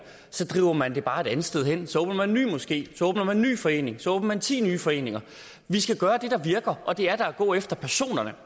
driver man det bare et andet sted hen så åbner man en ny moské så åbner man en ny forening så åbner man ti nye foreninger vi skal gøre det der virker og det er da at gå efter personerne